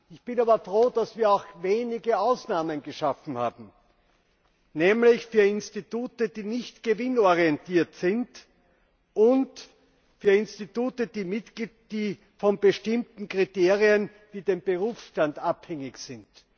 Ich bin aber froh, dass wir wenige Ausnahmen geschaffen haben, nämlich für Institute, die nicht gewinnorientiert sind, und für Institute, die von bestimmten Kriterien wie dem Berufsstand abhängig sind.